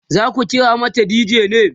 zaku kira mata dj ne?